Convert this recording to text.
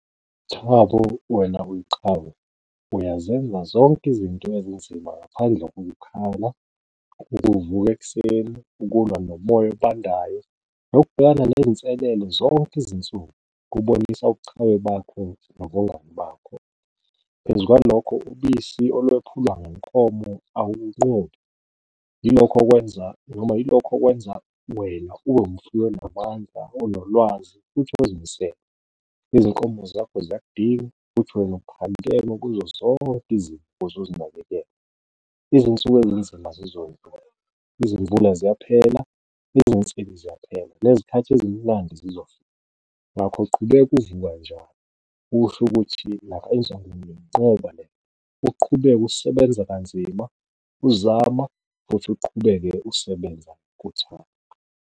Thabo wena uyiqhawe uyazenza zonke izinto ezinzima ngaphandle kokukhala ukuvuka ekuseni, ukulwa nomoya obandayo nokubhekana neyinselelo zonke izinsuku kubonisa obuqhawe bakho, nobungani bakho. Phezu kwalokho ubisi olwephulwa ngenkomo ilokho okwenza noma yilokho okwenza wena ube umfuyi onamandla onolwazi futhi ozimisele, izinkomo zakho ziyakidinga futhi wena kuzo zonke izinto ozozinakekela. Izinsuku ezinzima zizondlula, izimvula ziyaphela, izinsizi ziyaphela, nezikhathi ezimnandi zizofika, ngakho qhubeka njalo usho ukuthi uqhubeke usebenza kanzima uzama, futhi uqhubeke usebenza ngothando.